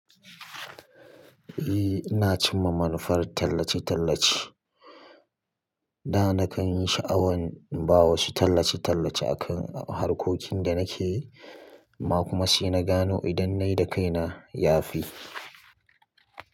Eh ina cin mamannafan tallace-tallace. Da na kan yi sha'awan in ba wasu tallace-tallace akan harkokin da nake yi, ma kuma sai na gano idan na yi da kaina ya fi.